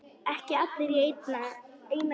Ekki allir í einni kássu!